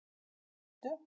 Sléttu